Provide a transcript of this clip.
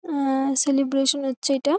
অ্যা -অ্যা সেলিব্রেশান হচ্ছে এটা।